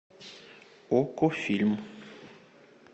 окко фильм